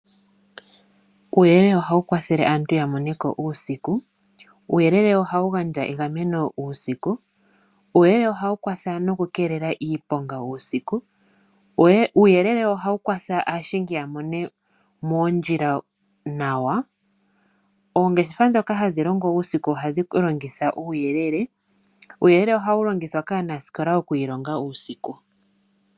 Uuyele oha wu kwathele aantu yamoneko uusiku. Uuyelele oha wu gandja egameno uusiku, uuyelele oha wu kwatha nokukeelela iiponga uusiku, uuyelele oha wu kwatha aashingi ya mone moondjila nawa. Oongeshefa ndhoka hadhi longo uusiku ohadhi longitha uuyelele. Uuyelele oha wu longithwa kaanasikola oku ilonga uusiku.